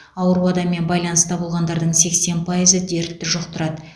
ауру адаммен байланыста болғандардың сексен пайызы дертті жұқтырады